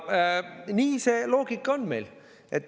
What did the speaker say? Nii see loogika meil on.